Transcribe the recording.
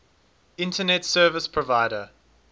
internet service provider